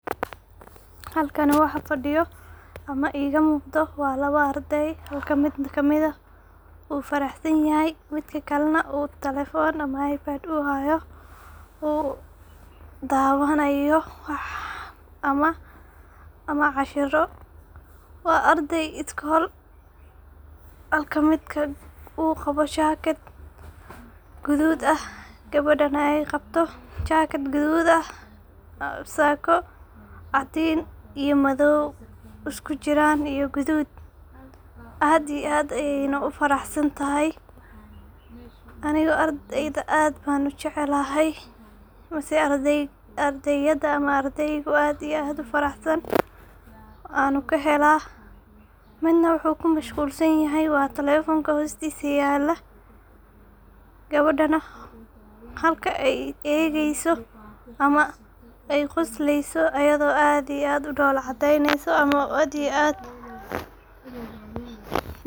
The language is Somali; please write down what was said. Halkani waxa fadiyo ama iga muqdo waa arday mid ka mid ah u farahsanyahay midka kalena telephone ama ipad u hayoo u dawanayo wax ama cashir school wilka u qawo jakaad gadud ,gabadana jakaad gadud ah sakoo cadin iyo madow, gadud aad iyo aad ayey u farahsantahay. Aniga ardayda aad ban u jeclahay oo aad u farahsan waana kahela ,midna wuxu ku mashqulsan yahay waa telephone hostisa yala gabadana halka ay egeso oo quslesa ama aad u dhola cadeyneso.